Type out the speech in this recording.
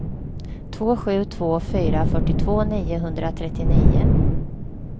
två sju två fyra fyrtiotvå niohundratrettionio